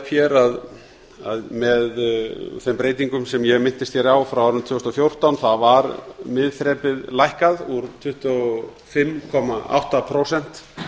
hér að með þeim breytingum sem ég minntist hér á frá árinu tvö þúsund og fjórtán var miðþrepið lækkað úr tuttugu og fimm komma átta prósent